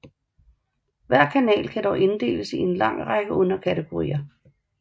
Hver kanal kan dog inddeles i en lang række underkategorier